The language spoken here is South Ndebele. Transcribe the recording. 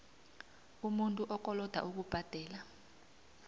umuntu okoloda ukubhadela